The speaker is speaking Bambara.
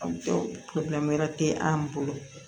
wɛrɛ tɛ an bolo